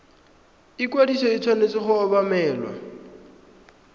ikwadiso e tshwanetse go obamelwa